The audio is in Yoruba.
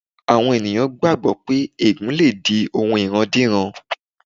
Àwọn ènìyàn gbàgbọ́ pé ègùn lè di ohun ìrandíran.